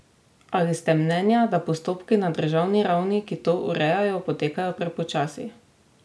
Ali ste mnenja, da postopki na državni ravni, ki to urejajo, potekajo prepočasi?